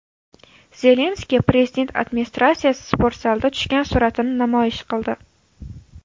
Zelenskiy Prezident administratsiyasi sportzalida tushgan suratini namoyish qildi.